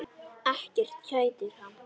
Ekkert kætir hann.